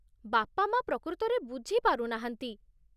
ବାପା ମାଆ ପ୍ରକୃତରେ ବୁଝିପାରୁନାହାନ୍ତି ।